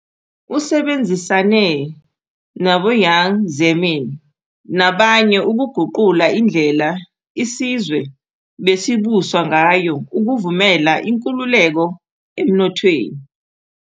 Usebenzisane naboJiang Zemin nabanye ukuguqula indlela isizwe besibuswa ngayo ukuvumela inkululeko emnothweni.